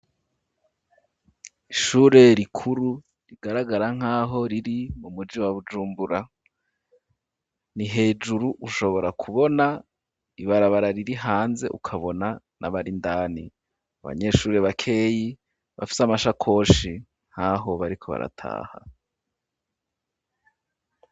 Ishure rikuru rigaragara nk'aho riri mumuji wa bujumbura ni hejuru ushobora kubona ibarabara riri hanze ukabona na barindani abanyeshure bakeyi bafite amashakoshi nkaho bariko barataha.